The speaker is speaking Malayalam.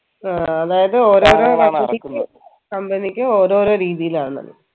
ആ അതായത് ഓരൊരു company ഓരോരു രീതിയിലാണെന്ന്